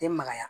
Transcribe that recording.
Den magaya